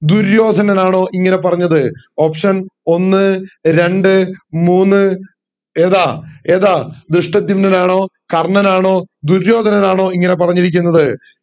ദുര്യോധനൻ ആണോ ഇങ്ങനെ പറഞ്ഞത് option ഒന്ന് രണ്ട് മൂന്ന് നാല് ഏതാ ഏതാ ധൃഷ്ടധ്യുമ്നൻ ആണോ കർണ്ണൻ ആണോ ദുര്യോധനൻ ആണോ ഇങ്ങനെ പറഞ്ഞിരിക്കുന്നത്